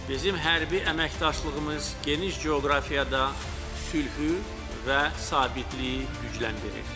Bizim hərbi əməkdaşlığımız geniş coğrafiyada sülhü və sabitliyi gücləndirir.